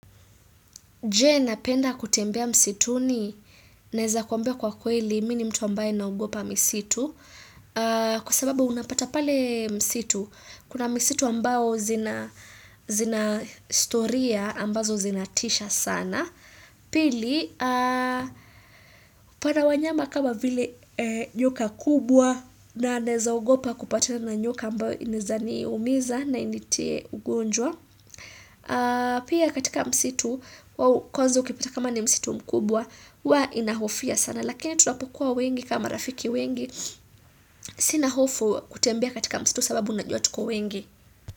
Je na penda kutembea msitu ni naeza kuambia kwa kweli mini mtu ambaye naogopa misitu. Kwa sababu unapata pale msitu. Kuna msitu ambao zina historia ambazo zinatisha sana. Pili, upata wanyama kama vile nyoka kubwa na naeza ogopa kupata na nyoka ambao inaezani umiza na initie ugonjwa. Pia katika msitu kwanza ukipata kama ni msitu mkubwa huwa inahofia sana lakini tunapokuwa wengi kama rafiki wengi sina hofu kutembea katika msitu sababu najua tuko wengi.